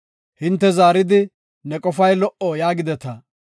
Hinte zaaridi, “Ne qofay lo77o” yaagideta.